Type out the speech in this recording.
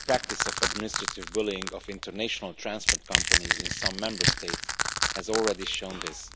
The practice of administrative bullying of international transport companies in some Member States has already shown this.